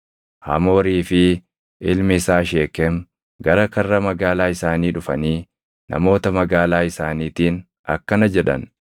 Hamoorii fi ilmi isaa Sheekem gara karra magaalaa isaanii dhufanii namoota magaalaa isaaniitiin akkana jedhan;